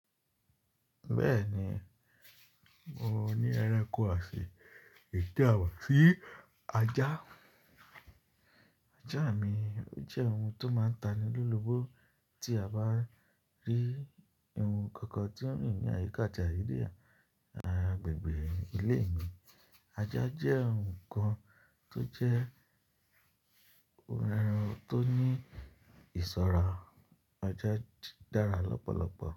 Bẹ́ẹ̀ni, mo ní ẹranko osin, èyí ti àmáṣí ajá. Ajá mi, ó jẹ́ ohun tó máa ń taní lólobo tí a bá rí ohun kan kan tí ó rin ni ayika ati àyide yen agbègbè ilé mi. Ajá jẹ́ ohun kan tó jẹ́ ohun tó ní ìṣọ́ra. Ajá dára lọ́pọ̀lọpọ̀